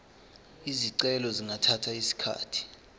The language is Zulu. izicelo zingathatha isikhathi